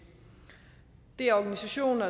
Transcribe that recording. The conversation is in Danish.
er organisationer